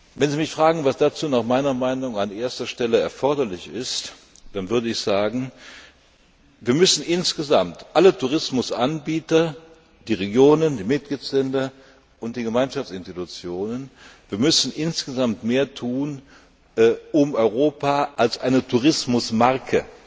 Wenn Sie mich fragen, was dazu nach meiner Meinung an erster Stelle erforderlich ist, dann würde ich sagen Alle Tourismusanbieter die Regionen, die Mitgliedstaaten und die Gemeinschaftsinstitutionen müssen insgesamt mehr tun, um Europa als eine Tourismusmarke,